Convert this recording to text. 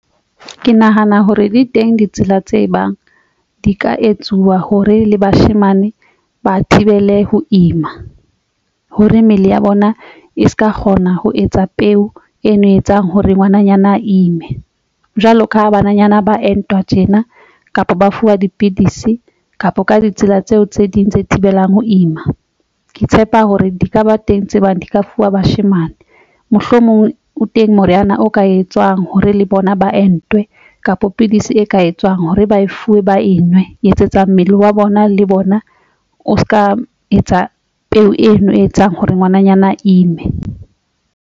Ke nahana hore di teng ditsela tse bang di ka etsuwa hore le bashemane ba thibele ho ima hore mmele ya bona e se ka kgona ho etsa peo ena e etsang hore ngwananyana ime jwalo ka bananyana ba entwa tjena kapa ba fuwa dipidisi kapa ka ditsela tseo tse ding tse thibelang ho ima. Ke tshepa hore di ka ba teng tse bang di ka fuwa bashemane. Mohlomong o teng moriana o ka etswang hore le bona ba entwe kapa pidisi e ka etswang hore ba fuwe ba e nngwe e etsetsang mmele wa bona le bona o se ka etsa peo eno e etsang hore ngwananyana ime.